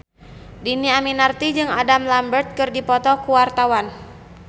Dhini Aminarti jeung Adam Lambert keur dipoto ku wartawan